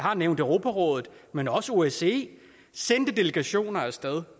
har nævnt europarådet men også osce sendte delegationer af sted